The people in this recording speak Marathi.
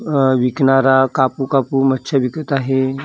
अ विकणारा कापू कापू मच्छे विकत आहे.